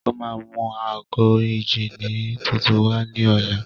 Ó máa mú ago ìjíni tuntun wá ní ọ̀la.